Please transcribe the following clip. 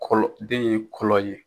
Kɔlɔ den ye kɔlɔ ye.